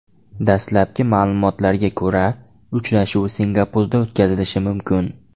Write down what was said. Dastlabki ma’lumotlarga ko‘ra, uchrashuv Singapurda o‘tkazilishi mumkin.